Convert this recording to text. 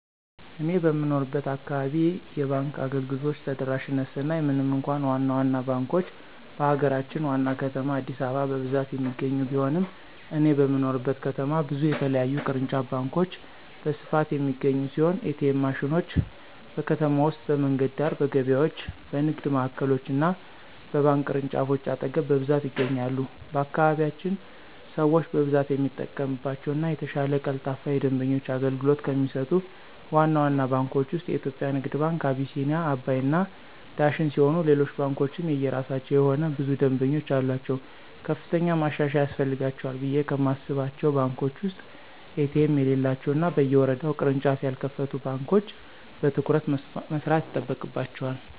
እኔ በምኖርበት አካባቢ የባንክ አገልግሎቶች ተደራሽነት ስናይ ምንም እንኳ ዋና ዋና ባንኮች በሀገራችን ዋና ከተማ አዲስአበባ በብዛት የሚገኙ ቢሆንም እኔ በምኖርበት ከተማ ብዙ የተለያዩ ቅርንጫፍ ባንኮች በስፋት የሚገኙ ሲሆን: ኤ.ቲ.ኤም ማሽኖች: በከተማ ውስጥ በመንገድ ዳር፣ በገበያዎች፣ በንግድ ማዕከሎች እና በባንክ ቅርንጫፎች አጠገብ በብዛት ይገኛሉ። በአካባቢያችን ሰው በብዛት የሚጠቀምባቸው እና የተሻለ ቀልጣፋ የደንበኞች አገልግሎት ከሚሰጡት ዋና ዋና ባንኮች ውስጥ (የኢትዮጽያ ንግድ ባንክ፣ አቢሲኒያ፣ አባይ እና ዳሽን ሲሆኑ ሌሎች ባንኮችም የየራሳቸው የሆነ ብዙ ደምበኞች አሉአቸው። ከፍተኛ ማሻሻያ ያስፈልጋቸዋል ብየ ከማስባቸው ባንኮች ውስጥ ኤ.ቲ.ኤም የሌላቸው እና በየወረዳው ቅርንጫፍ ያልከፈቱ ባንኮች በትኩረት መስራት ይጠበቅባቸዋል።